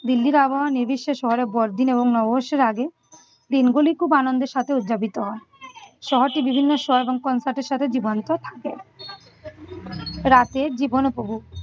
দিল্লির আবহাওয়া নির্বিশেষ শহরে বড়দিন এবং নববর্ষের আগে দিনগুলি খুব আনন্দের সাথে উদযাপিত হয়। শহরটি বিভিন্ন show এবং concert এর সাথে জীবন্ত থাকে। রাতে জীবন উপভোগ